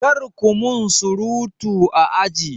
Kar ku min surutu a aji!